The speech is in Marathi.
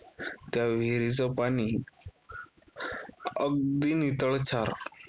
त्या विहीरीचं पाणी अगदी नितळशार.